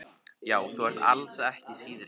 Já, þú ert alls ekki síðri.